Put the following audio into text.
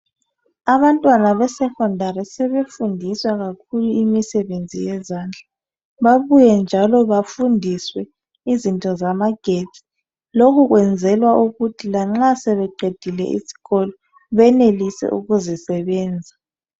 Abantwana besecondary sebefundisa kakhulu imisebenzi yezandla babuye njalo bafundiswe izinto zamagetsi lokhu kwenzelwa ukuthi lanxa sebeqedile isikolo benelise ukuzisebenza